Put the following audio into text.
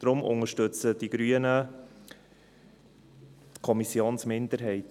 Deshalb unterstützen die Grünen die Kommissionsminderheit.